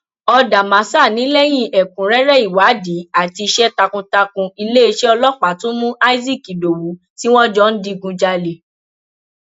ọdàmásà ni lẹyìn ẹkúnrẹrẹ ìwádìí àti iṣẹ takuntakun iléeṣẹ ọlọpàá tún mú isaac ìdòwú tí wọn jọ ń digunjalè